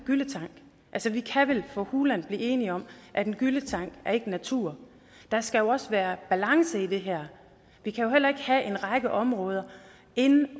gylletank altså vi kan vel for hulen blive enige om at en gylletank ikke er natur der skal jo også være balance i det her vi kan jo heller ikke have en række områder